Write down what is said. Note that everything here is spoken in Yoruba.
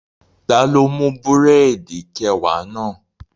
Taló mú búrẹ̀dì kẹwàá náà?